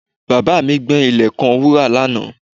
Bàbá mi gbẹ́ ilẹ̀ kan wúrà lánàá